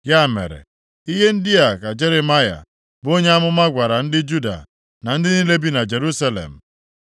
Ya mere, ihe ndị a ka Jeremaya, bụ onye amụma gwara ndị Juda na ndị niile bi na Jerusalem: